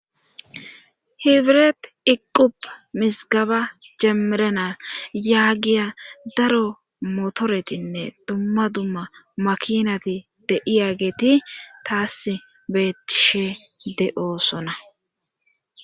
hibiret iqqup misgaba jemerenal yaagiya daro motoretinne dumma dumma makinati de'iyageeti taas beettishe de'oosona